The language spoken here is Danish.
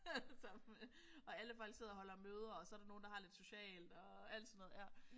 Allesammen og alle folk sidder og holder møder og så der nogle der har lidt socialt og alt sådan noget ja